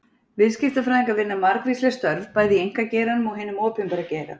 Viðskiptafræðingar vinna margvísleg störf, bæði í einkageiranum og hinum opinbera geira.